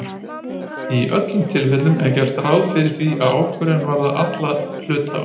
Í öllum tilvikum er gert ráð fyrir því að ákvörðun varði alla hluthafana.